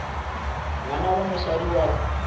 ngwana wa mosadi wa ka